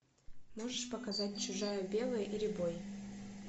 можешь показать чужая белая и рябой